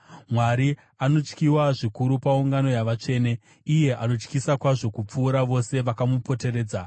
Mwari anotyiwa zvikuru paungano yavatsvene; iye anotyisa kwazvo kupfuura vose vakamupoteredza.